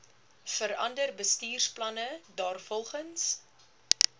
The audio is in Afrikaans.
verander bestuursplanne daarvolgens